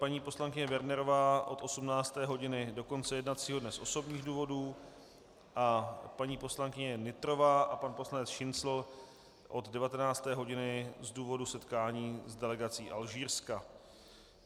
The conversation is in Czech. Paní poslankyně Wernerová od 18. hodiny do konce jednacího dne z osobních důvodů a paní poslankyně Nytrová a pan poslanec Šincl od 19. hodiny z důvodu setkání s delegací Alžírska.